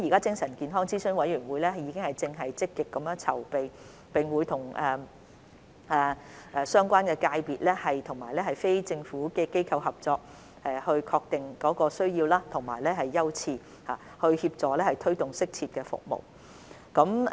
精神健康諮詢委員會正積極籌備，並會與相關界別及非政府機構合作確定需要和優次，協助或推動適切的服務。